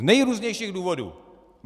Z nejrůznějších důvodů.